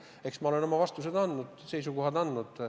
Eks ma olen oma vastused andnud, seisukohad öelnud.